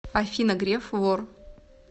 афина греф вор